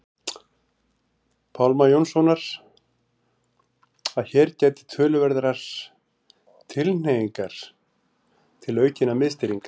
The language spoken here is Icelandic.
Pálma Jónssonar að hér gætir töluverðrar tilhneigingar til aukinnar miðstýringar.